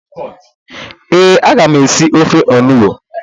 Ee, ama m esi ofe onugbu